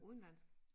Udenlandsk